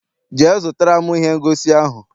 Jee zụtara m ihe ngosi ahụ!